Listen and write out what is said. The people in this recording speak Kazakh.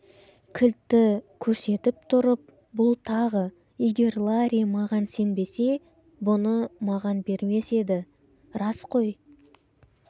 кілтті көрсетіп тұрып бұл тағы егер ларри маған сенбесе бұны маған бермес еді рас қой